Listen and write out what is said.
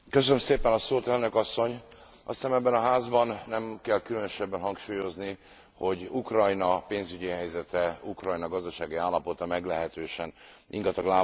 Elnök asszony, azt hiszem, ebben a Házban nem kell különösebben hangsúlyozni, hogy Ukrajna pénzügyi helyzete, Ukrajna gazdasági állapota meglehetősen ingatag lábakon áll.